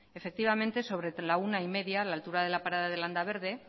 efectivamente sobre la una y media a la altura de la parada de landaberde